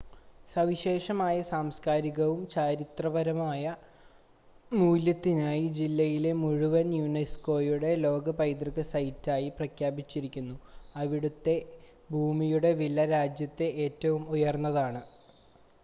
സവിശേഷമായ സാംസ്കാരികവും ചരിത്രപരവുമായ മൂല്യത്തിനായി ജില്ലയെ മുഴുവൻ യുനെസ്കോയുടെ ലോക പൈതൃക സൈറ്റായി പ്രഖ്യാപിച്ചിരിക്കുന്നു അവിടുത്തെ ഭൂമിയുടെ വില രാജ്യത്തെ ഏറ്റവും ഉയർന്നതാണ്